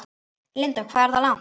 Linda: Hvað er það langt?